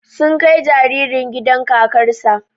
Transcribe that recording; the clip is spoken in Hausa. Sun kai jaririn gidan kakar sa